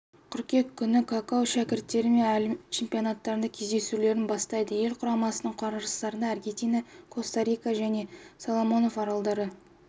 қыркүйек күні какау шәкірттері әлем чемпионатындағы кездесулерін бастайды ел құрамасының қарсыластары аргентина коста-рика және соломонов аралдары